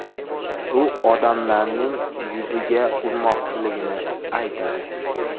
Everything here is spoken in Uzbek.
U odamlarning yuziga urmoqchiligini aytadi.